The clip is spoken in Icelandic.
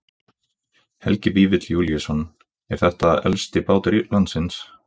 Helgi Vífill Júlíusson: Er þetta elsti bátur landsins?